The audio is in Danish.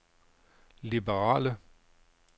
liberale